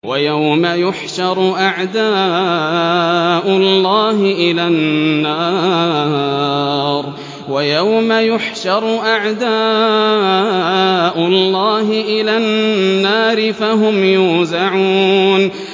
وَيَوْمَ يُحْشَرُ أَعْدَاءُ اللَّهِ إِلَى النَّارِ فَهُمْ يُوزَعُونَ